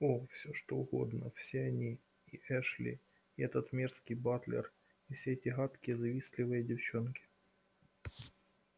о всё что угодно все они и эшли и этот мерзкий батлер и все эти гадкие завистливые девчонки